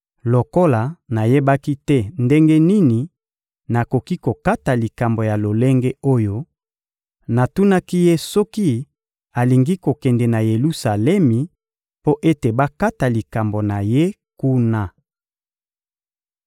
Lokola nayebaki te ndenge nini nakoki kokata likambo ya lolenge oyo, natunaki ye soki alingi kokende na Yelusalemi mpo ete bakata likambo na ye kuna.